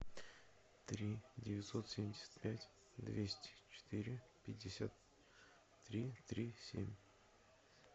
три девятьсот семьдесят пять двести четыре пятьдесят три три семь